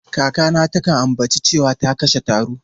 Kakata takan ambaci cewa ta kashe taro.